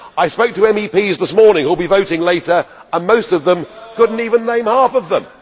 I spoke to MEPs this morning who will be voting later, and most of them could not even name half of them.